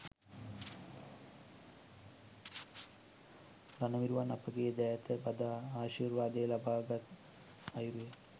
රණවිරුවන් අපගේ දෑත් බදා ආශීර්වාද ලබාගත් අයුරු